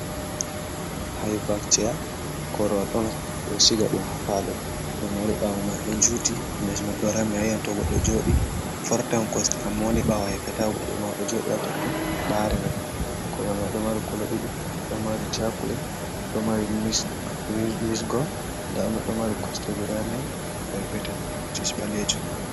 Hibag atia corwal on do shiga dum ha palo do mari bawo ma do juti les ma do rami ayantogo do jodi fortawn coste amma woni bawo hefetago do ma do jodi ha totton barira corwal ma do mari colo 2 do mari chaclet do mari misgol dano do mari coste g4 perpetan mcibaleju.